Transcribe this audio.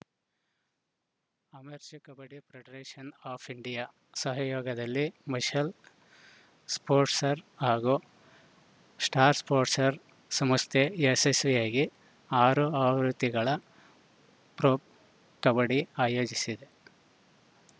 amateur kabaddi federation of India ಸಹಯೋಗದಲ್ಲಿ Mashal sports ಹಾಗೂ star ಸ್ಟೋಟ್ಸ್‌ರ್ ಸಂಸ್ಥೆ ಯಶಸ್ವಿಯಾಗಿ ಆರು ಆವೃತ್ತಿಗಳ ಪ್ರೊ ಕಬಡ್ಡಿ ಆಯೋಜಿಸಿದೆ